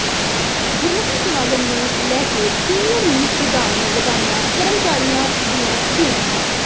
ਗੁਰਮਤਿ ਸਮਾਗਮ ਨੂੰ ਲੈ ਕੇ ਸੀਨੀਅਰ ਮੀਤ ਪ੍ਰਧਾਨ ਨੇ ਲਗਾਈਆਂ ਕਰਮਚਾਰੀਆਂ ਦੀਆਂ ਡਿਊਟੀਆਂ